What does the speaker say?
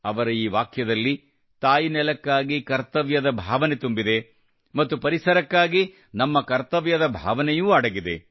ಅವರ ಈ ವಾಕ್ಯದಲ್ಲಿ ತಾಯ್ನೆಲಕ್ಕಾಗಿ ಕರ್ತವ್ಯದ ಭಾವನೆ ತುಂಬಿದೆ ಮತ್ತು ಪರಿಸರಕ್ಕಾಗಿ ನಮ್ಮ ಕರ್ತವ್ಯದ ಭಾವನೆಯೂ ಅಡಗಿದೆ